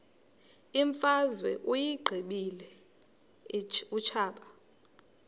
imfazwe uyiqibile utshaba